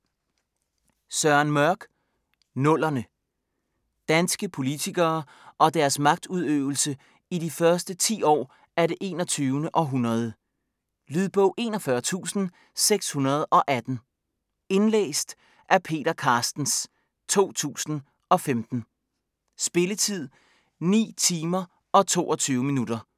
Søren Mørch: Nullerne Danske politikere og deres magtudøvelse i de første ti år af det 21. århundrede. Lydbog 41618 Indlæst af Peter Carstens, 2015. Spilletid: 9 timer, 22 minutter.